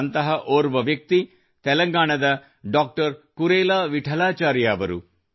ಅಂತಹ ಓರ್ವ ವ್ಯಕ್ತಿ ತೆಲಂಗಾಣದ ಡಾಕ್ಟರ್ ಕುರೇಲಾ ವಿಠಲಾಚಾರ್ಯ ಅವರು